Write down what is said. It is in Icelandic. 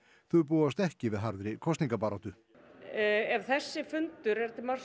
þau búast ekki við harðri kosningabaráttu ef þessi fundur er til marks